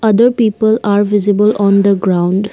other people are visible on the ground.